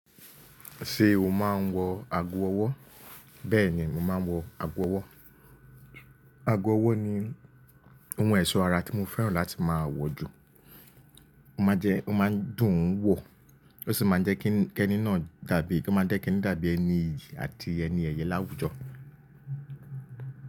Ṣé o máa ń wọ ago ọwọ́? Bẹ́ẹ̀ni, màá wọ ago ọwọ́. Ago ọwọ́ ni ohun ẹ̀ṣọ́ ara tí mo fẹ́ràn láti máa wọ̀ jù. Ó máa ń jẹ, ó máa ń dùn wọ̀, ó sì máa ń jẹ́ kí ẹni náà dàbí, kó máa dẹ́ ẹni dàbí ẹni iyì àti ẹni ẹyẹ láwùjọ.